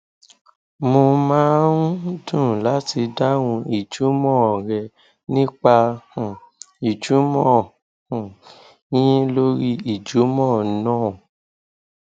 mo máa ń dùn láti dáhùn ìjùmọn rẹ nípa um ìjùmọ um yín lórí ìjùmọ náà